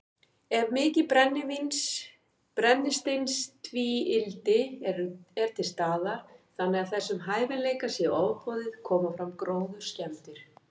Ef mikið brennisteinstvíildi er til staðar, þannig að þessum hæfileika sé ofboðið, koma fram gróðurskemmdir.